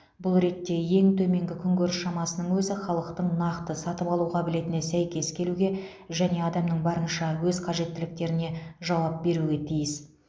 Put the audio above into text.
бұл ретте ең төменгі күнкөріс шамасының өзі халықтың нақты сатып алу қабілетіне сәйкес келуге және адамның барынша аз қажеттіліктеріне жауап беруге тиіс